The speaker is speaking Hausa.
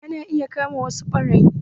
Ana iya kama wasu ɓarayin